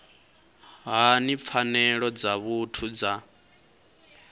hani pfanelo dza muthu dza